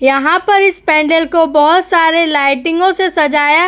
यहाँ पर इस पेन्डेल को बहुत सारे लाइटिंगो से सजाया --